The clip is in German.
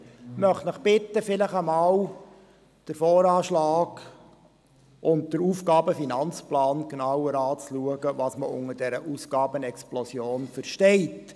Ich möchte Sie bitten, den Voranschlag und den Aufgaben- und Finanzplan (AFP) genauer anzuschauen, um zu sehen, was man unter dieser Ausgabenexplosion versteht.